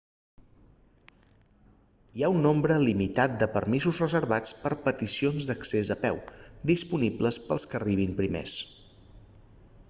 hi ha un nombre limitat de permisos reservats per a peticions d'accés a peu disponibles per als que arribin primers